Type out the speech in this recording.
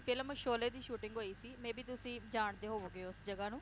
film Sholay ਦੀ shooting ਹੋਈ ਸੀ maybe ਤੁਸੀ ਜਾਣਦੇ ਹੋਵੋਗੇ ਉਸ ਜਗਾਹ ਨੂੰ